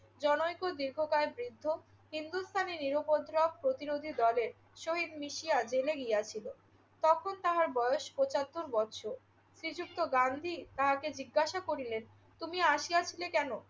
জনৈক দীর্ঘকায় বৃদ্ধ হিন্দুস্থানী নিরুপদ্রব প্রতিরোধী দলের সহিত মিশিয়া জেলে গিয়াছিল। তখন তাহার বয়স পঁচাত্তর বৎসর। শ্রীযুক্ত গান্ধী তাহাকে জিজ্ঞাসা করিলেন, তুমি আসিয়াছিলে কেন?